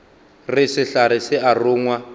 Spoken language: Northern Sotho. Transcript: re sehlare se a rongwa